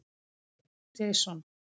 Jason